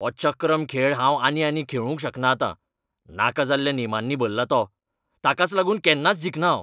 हो चक्रम खेळ हांव आनी आनी खेळूंक शकना आतां. नाका जाल्ल्या नेमांनी भरला तो. ताकाच लागून केन्नाच जिखना हांव.